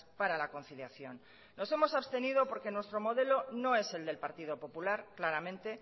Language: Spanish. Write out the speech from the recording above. para la conciliación nos hemos abstenido porque nuestro modelo no es el del partido popular claramente